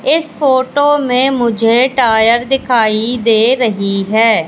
इस फोटो में मुझे टायर दिखाई दे रही हैं।